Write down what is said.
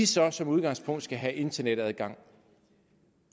så som udgangspunkt skal have internetadgang